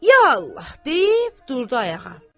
Ya Allah deyib durdu ayağa.